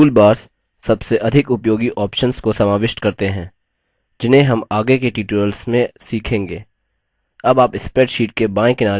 toolbars सबसे अधिक उपयोगी options को समाविष्ट करते हैं जिन्हें हम आगे के tutorials में सीखेंगे